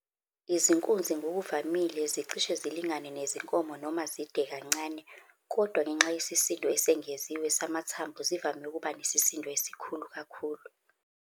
Izinkunzi ngokuvamile zicishe zilingane nezinkomo noma zide kancane, kodwa ngenxa yesisindo esengeziwe samathambo, zivame ukuba nesisindo esikhulu kakhulu.